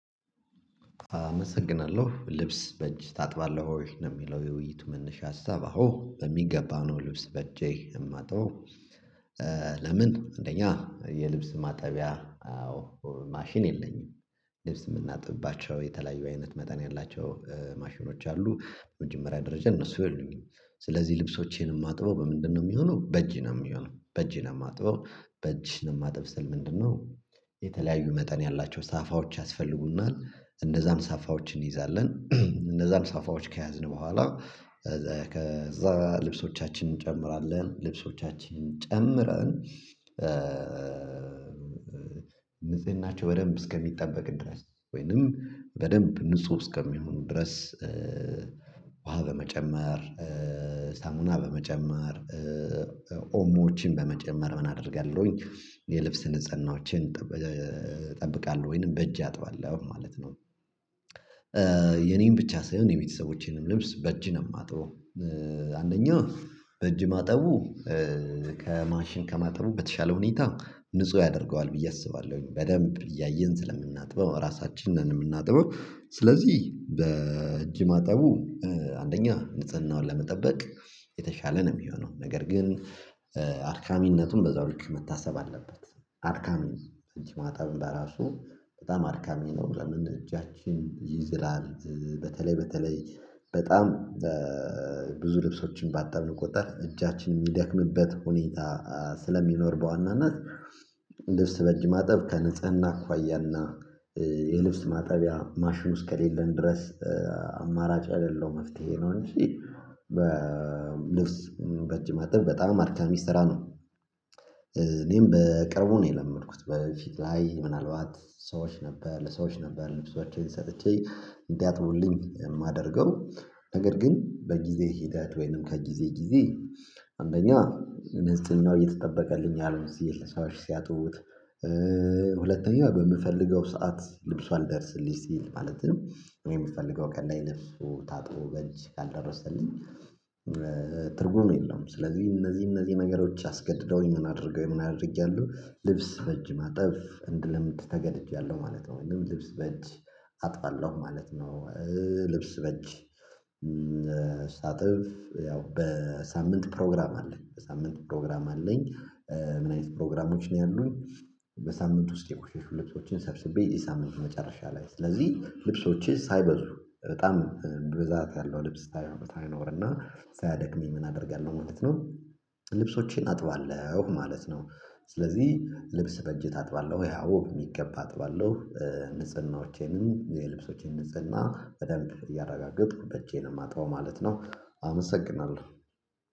አመሰግናለሁ። ልብስ በእጅ ታጥባለህ ወይ? ነው የሚለው የውይይቱ መነሻ ሀሳብ። አዎ በሚገባ ነው ልብስ በእጄ የማጥበው። ለምን አንደኛ የልብስ ማጠቢያ አዎ ማሽን የለኝም። ልብስ የምናጥብባቸው የተለያዩ አይነት መጠን ያላቸው ማሽኖች አሉ። በመጀመሪያ ደረጃ እነሱ የሉኝም። ስለዚህ ልብሶቼን የማጥበው በምንድነው የሚሆነው በእጅ ነው የሚሆነው። በእጅ ነው የማጥበው። በእጅ ነው የማጥበው ስል ምንድነው የተለያዩ መጠን ያላቸው ሳፋዎች ያስፈልጉናል። እነዛን ሳፋዎች እንይዛለንደ እነዛን ሳፋዎች ከያዝን በኋላ ከዛ ልብሶቻችንን እንጨምራለን። ልብሶቻችንን ጨምረን ንጽህናቸው በደንብ እስከሚጠበቅ ድረስ ወይንም በደንብ ንጹህ እስከሚሆኑ ድረስ ውሃ በመጨመር ሳሙና በመጨመር፤ ኦሞዎችን በመጨመር ምን አደርጋለሁኝ፤ የልብስ ንጽህናዎቼን እጠብቃለሁ። ወይንም በእጄ አጥባለሁ ማለት ነው። የኔን ብቻ ሳይሆን የቤተሰቦቼንም ልብስ በእጅ ነው የማጥበው። አንደኛ በእጅ ማጠቡ ከማሽን ከማጠቡ በተሻለ ሁኔታ ንጹህ ያደርገዋል ብዬ አስባለሁኝ። በደንብ እያየን ስለምናጥበው ራሳችንን ነን የምናጥበው። ስለዚህ በእጅ ማጠቡ አንደኛ ንጽህናውን ለመጠበቅ የተሻለ ነው የሚሆነው። ነገር ግን አድካሚነቱም በዛው ልክ መታሰብ አለበት። አድካሚ ነው። በእጅ ማጠቡም በራሱ በጣም አድካሚ ነው። ለምን እጃችን ይዝላል በተለይ በተለይ በጣም ብዙ ልብሶችን ባጠብን ቁጥር እጃችን የሚደክምበት ሁኔታ ስለሚኖር በዋናነት ልብስ በእጅ ማጠብ ከንጽህና አኳያና የልብስ ማጠቢያ ማሽኑ እስከሌለን ድረስ አማራጭ የሌለው መፍትሄ ነው እንጂ በልብስ በእጅ ማጠብ በጣም አድካሚ ስራ ነው። እኔም በቅርቡ ነው የለመድኩት። በፊት ላይ ምናልባት ሰዎች ነበር ለሰዎች ነበር ልብሶቼን ሰጥቼ እንዲያጥቡልኝ የማደርገው ነገር ግን በጊዜ ሂደት ወይንም ከጊዜ ጊዜ አንደኛ ንጽህናው እየተጠበቀልኝ አልሆን ሲል ሰዎች ሲያጥቡት። ሁለተኛ በምፈልገው ሰዓት ልብሱ አልደርስልኝ ሲል። ማለትም እኔ የምፈልገው ቀን ላይ ልብሱ ታጥቦ በእጅ ካልደረሰልኝ ትርጉም የለውም። ስለዚህ እነዚህ እነዚህ ነገሮች አስገድደውኝ ምን አድርገውኝ ምን አድርጌያለሁ ልብስ በእጅ ማጠብ እንድለምድ ተገድጃለሁ ማለት ነው። ወይም ልብስ በእጅ አጥባለሁ ማለት ነው። ልብስ በእጅ ሳጥብ ያው በሳምንት ፕሮግራም አለኝ። ሳምንት ፕሮግራም አለኝ ምን አይነት ፕሮግራሞች ነው ያሉኝ? በሳምንት ውስጥ የቆሸሹ ልብሶቼን ሰብስቤ የሳምንቱ መጨረሻ ላይ ስለዚህ ልብሶቼ ሳይበዙ በጣም ብዛት ያለው ልብስ ሳይሆን ሳይኖርና ሳያደክመኝ ምን አደርጋለሁ ማለት ነው ልብሶቼን አጥባለሁ ማለት ነው። ስለዚህ ልብስ በእጅህ ታጥባለህ ወይ? ይሄ አዎ የሚገባ አጥባለሁ ንጽህናዎቼንም የልብሶቼን ንጽህና በደንብ እያረጋገጥኩበት እጄን የማጣው ማለት ነው አመሰግናለሁ